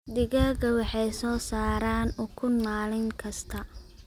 Digaagga waxay soo saaraan ukun maalin kasta.